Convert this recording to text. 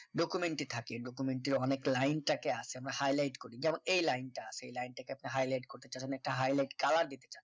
documentary এ থাকে documentary এর অনেক লাইন টাকে আছে আমরা highlight করি যেমন এই লাইন টা আছে এই লাইনটাকে আপনি highlight করতে চান মানে একটা high light colour দিতে চান